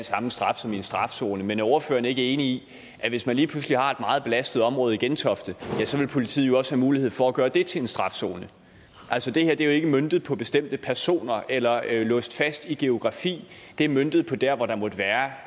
samme straf som i en strafzone men er ordføreren ikke enig i at hvis man lige pludselig har et meget belastet område i gentofte så vil politiet også have mulighed for at gøre det til en strafzone altså det her er jo ikke møntet på bestemte personer eller låst fast geografisk det er møntet på der hvor der måtte være